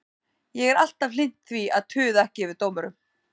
Ég er alltaf hlynnt því að tuða ekki yfir dómurum.